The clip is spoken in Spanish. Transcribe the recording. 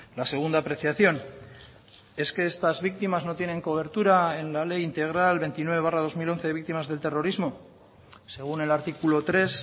la segunda apreciación es que estas víctimas no tienen cobertura en la ley integral veintinueve barra dos mil once de víctimas del terrorismo según el artículo tres